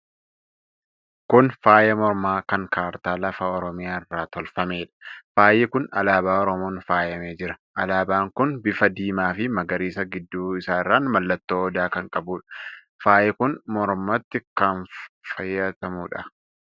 Kun Faaya mormaa kan kartaa lafa Oromiyaa irraa tolfameedha. Faayi kun Alaabaa Oromoon faayamee jira. Alaabaan kun bifa diimaa fi magariisa gidduu isaarraan mallattoo Odaa kan qabuudha. Faayi kun mormatti kan kaayyatamuudha.